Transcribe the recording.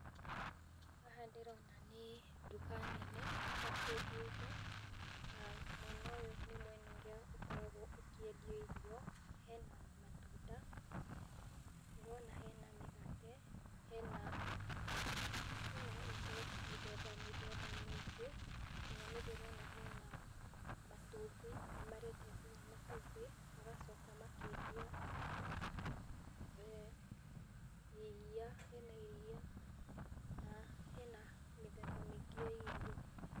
Haha ndĩrona nĩ nduka nene ya kwendia indo, na mwena ũyũ nĩ mwena ũrĩa ũkoragwo ũkiendio irio, hena matunda, ndĩrona hena mĩgate, hena indo mĩthemba mĩthemba mĩingĩ, nginya nĩ ndĩrona hena matumbĩ, nĩ marendia nginya matumbĩ, magacoka makendia e iria, hena iria, na hena mĩthemba mĩingĩ ya irio.